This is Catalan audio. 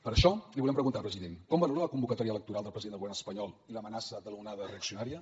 per això li volem preguntar president com valora la convocatòria electoral del president del govern espanyol i l’amenaça de l’onada reaccionària